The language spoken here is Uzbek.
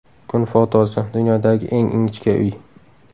Kun fotosi: Dunyodagi eng ingichka uy.